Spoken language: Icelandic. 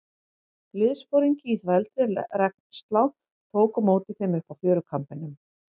Liðsforingi í þvældri regnslá tók á móti þeim uppi á fjörukambinum.